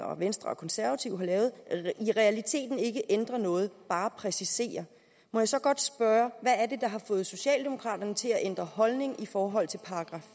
venstre og konservative har lavet i realiteten ikke ændrer noget bare præciserer må jeg så godt spørge hvad er det der har fået socialdemokraterne til at ændre holdning i forhold til §